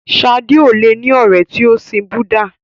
Sadé ò le ní ọ̀rẹ́ tí o sin Búdà.